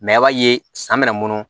i b'a ye san bɛna munu